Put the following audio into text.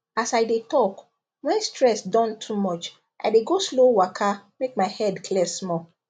as i dey talk when stress don too much i dey go slow waka make my head clear small